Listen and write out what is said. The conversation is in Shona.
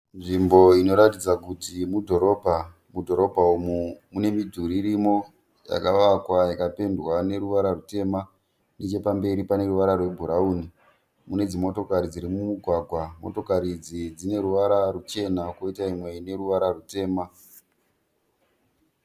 Nzvimbo inoratidza kuti mudhorobha. Mudhorobha umu mune midhuri irimo yakavakwa ikapendwa neruwara rutema nechepamberi pane ruwara rwe bhurauni. Mune dzi motokari dziri mumugwaga, motokari idzi dzine ruwara ruchena kwoita imwe ine ruwara rutema.